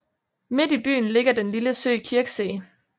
Midt i byen ligger den lille sø Kirchsee